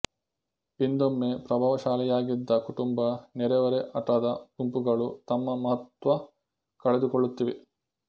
ಹಿಂದೊಮ್ಮೆ ಪ್ರಭಾವಶಾಲಿಯಾಗಿದ್ದ ಕುಟುಂಬ ನೆರೆಹೊರೆ ಆಟದ ಗುಂಪುಗಳು ತಮ್ಮ ಮಹತ್ತ್ವ ಕಳೆದುಕೊಳ್ಳುತ್ತಿವೆ